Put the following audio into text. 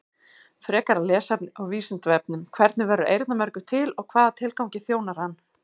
Frekara lesefni á Vísindavefnum: Hvernig verður eyrnamergur til og hvaða tilgangi þjónar hann?